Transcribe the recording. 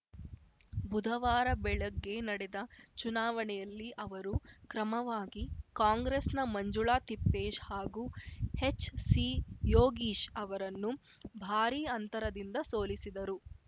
ಬುಧವಾರ ಬೆಳಗ್ಗೆ ನಡೆದ ಚುನಾವಣೆಯಲ್ಲಿ ಅವರು ಕ್ರಮವಾಗಿ ಕಾಂಗ್ರೆಸ್‌ನ ಮಂಜುಳಾ ತಿಪ್ಪೇಶ್‌ ಹಾಗೂ ಎಚ್‌ಸಿಯೋಗೀಶ್‌ ಅವರನ್ನು ಭಾರೀ ಅಂತರದಿಂದ ಸೋಲಿಸಿದರು